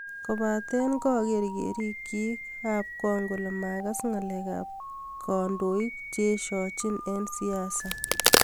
Kobate kaker kerik chik ab kong kole makas ngalek ap kandokeik che eshojin eng siasa.